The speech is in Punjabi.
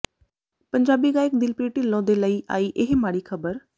ਪੰਜਾਬੀ ਗਾਇਕ ਦਿਲਪ੍ਰੀਤ ਢਿਲੋਂ ਦੇ ਲਈ ਆਈ ਇਹ ਮਾੜੀ ਖਬਰ